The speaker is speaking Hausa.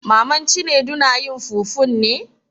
Maman Cinedu na yin fufun ne?